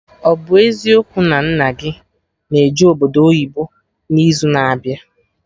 Ọ bụ eziokwu na nna gị na eje obodo oyibo n'izu na abịa?